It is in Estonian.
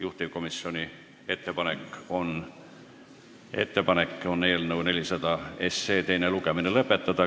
Juhtivkomisjoni ettepanek on eelnõu 400 teine lugemine lõpetada.